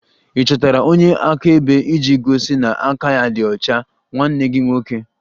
Ị chọtara onye akaebe iji gosi na aka ya dị ọcha nwanne gị nwoke?